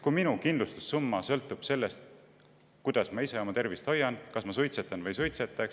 Inimese kindlustussumma sõltub sellest, kuidas ta oma tervist hoiab, kas ta suitsetab või ei suitseta.